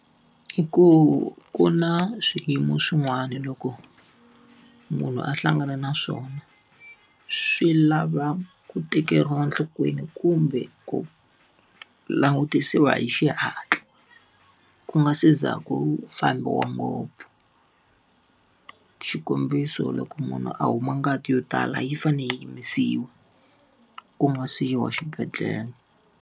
I ku ku na swiyimo swin'wana loko munhu a hlangana na swona, swi lava ku tekeriwa enhlokweni kumbe ku langutisiwa hi xihatla. Ku nga se za ku fambiwa ngopfu. Xikombiso loko munhu a huma ngati yo tala yi fanele yi yimisiwa ku nga si yi wa xibedhlele.